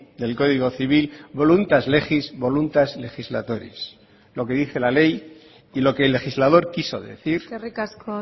del código civil voluntas legis voluntas legislatoris lo que dice la ley y lo que el legislador quiso decir eskerrik asko